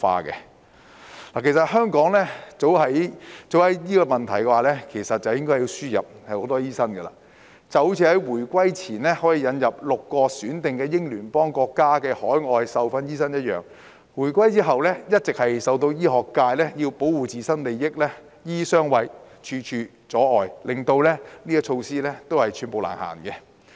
其實香港早應就這個問題輸入更多醫生，正如回歸前可引入6個選定英聯邦國家的海外受訓醫生一樣；但回歸後，一直由於醫學界要保護自身利益，"醫醫相衞"、處處阻礙，令有關措施寸步難行。